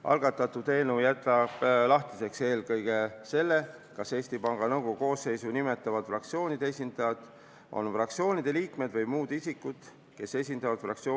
Algatatud eelnõu jätab lahtiseks eelkõige selle, kas Eesti Panga Nõukogu koosseisu nimetavad fraktsioonide esindajad on fraktsioonide liikmed või muud fraktsioonide huve esindavad isikud.